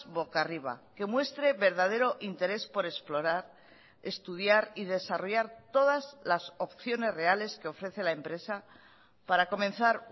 boca arriba que muestre verdadero interés por explorar estudiar y desarrollar todas las opciones reales que ofrece la empresa para comenzar